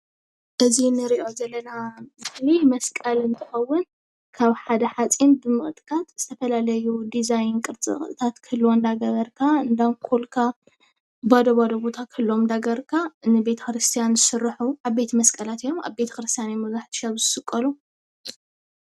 እዚ ንርኦ ዘለና ምስሊ መስቀል እንትከውን ካብ ሓደ ሓፂን ብምቅጥቃጥ ዝተፈላለዩ ዲዛይን ቅርፅቅርፅታት ክህልዎ እናኳልካ ባዶ ባዶ ቦታ ክህልውዎ እንዳገበርካ ንቤተ-ክርስትያን ዝስሩሑ ዓበይቲ መስቀላት እዮም። አብ ቤተ-ክርስትያን እዮም መብዛሕትኦም ግዜ ዝስቀሉ።